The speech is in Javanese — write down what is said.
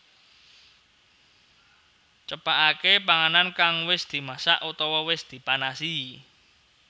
Cepakaké panganan kang wis dimasak utawa wis dipanasi